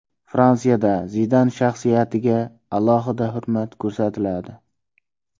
Fransiyada Zidan shaxsiyatiga alohida hurmat ko‘rsatiladi.